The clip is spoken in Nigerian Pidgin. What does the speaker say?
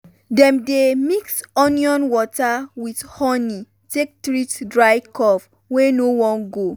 dem dey mix onion water with honi take treat dry cough wey no wan go.